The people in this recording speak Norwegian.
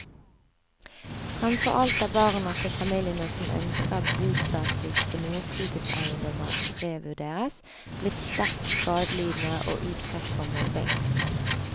Fremfor alt er barna til familiene som ønsker at bostatus til noen fritidseiendommer revurderes, blitt sterkt skadelidende og utsatt for mobbing.